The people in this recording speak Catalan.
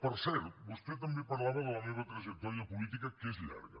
per cert vostè també parlava de la meva trajectòria política que és llarga